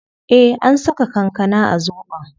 Eh an saka kankana a zobon